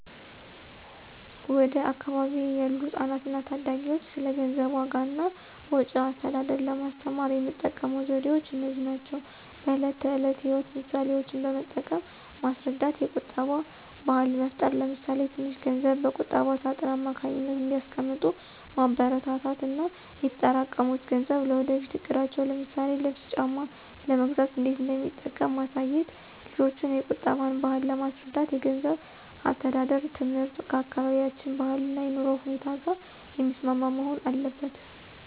ወደ አካባቢዬ ያሉ ህጻናትና ታዳጊዎች ስለ ገንዘብ ዋጋ እና ወጪ አስተዳደር ለማስተማር የምጠቀመው ዘዴዎች እነዚህ ናቸው፦ በዕለት ተዕለት ሕይወት ምሳሌዎችን በመጠቀም ማስረዳት የቁጠባ ባህል መፍጠር ለምሳሌ ትንሽ ገንዘብ በቁጠባ ሳጥን አማካኝነት እንዲያስቀምጡ ማበረታታት እና የተጠራቀሙት ገንዘብ ለወደፊት እቅዳቸው ለምሳሌ ልብስ ጫማ ለመግዛት እንዴት እንደሚጠቅም ማሳየት። ልጆችን የቁጠባን ባህል ለማስረዳት የገንዘብ አስተዳደር ትምህርት ከአካባቢያችን ባህልና የኑሮ ሁኔታ ጋር የሚስማማ መሆን አለበት።